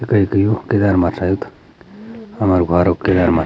त कैका यू किरै मा रैंद हमारू घौरो किरै मा।